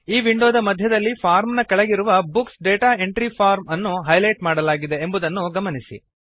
ಈ ವಿಂಡೋದ ಮಧ್ಯದಲ್ಲಿ ಫಾರ್ಮ್ ನ ಕೆಳಗಿರುವ ಬುಕ್ಸ್ ಡಾಟಾ ಎಂಟ್ರಿ ಫಾರ್ಮ್ ಅನ್ನು ಹೈಲೈಟ್ ಮಾಡಲಾಗಿದೆ ಎಂಬುದನ್ನು ಗಮನಿಸಿ